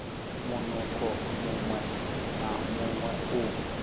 munukho muṅwe na muṅwe u